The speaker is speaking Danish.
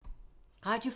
Radio 4